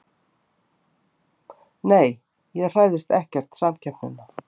Nei ég hræðist ekkert samkeppnina.